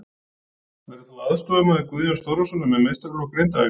Verður þú aðstoðarmaður Guðjóns Þórðarsonar með meistaraflokk Grindavíkur?